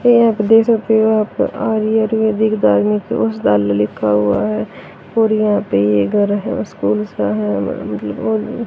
ये यहां पे देख सकते हो आप लिखा हुआ है और यहां पे ये एक घर है और स्कूल उसका है मेरा मतलब--